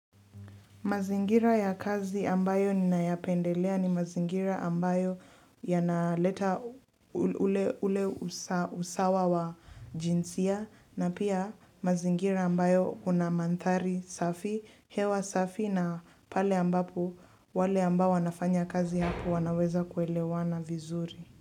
Mazingira ya kazi ambayo ninayapendelea ni mazingira ambayo yanaleta ule ule usa usawa wa jinsia na pia mazingira ambayo kuna mandhari safi hewa safi na pale ambapo wale ambao wanafanya kazi hapo wanaweza kuelewana vizuri.